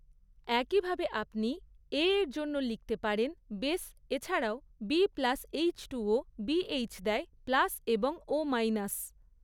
একইভাবে আপনি এ এর জন্য লিখতে পারেন বেস এছাড়াও বি প্লাস এইচটুও বিএইচ দেয় প্লাস এবং ও মাইনাস।